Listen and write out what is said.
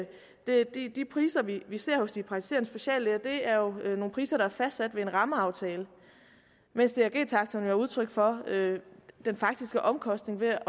de priser vi ser hos de praktiserende speciallæger jo er nogle priser der er fastsat ved en rammeaftale mens drg taksterne er udtryk for den faktiske omkostning ved at